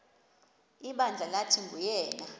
ibandla lathi nguyena